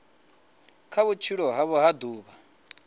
kha vhutshilo havho ha ḓuvha